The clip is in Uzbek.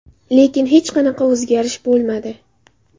Lekin hech qanaqa o‘zgarish bo‘lmadi.